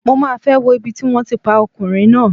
Mo máa fẹ́ wo ibi tí wón ti pa ọkùnrin náà.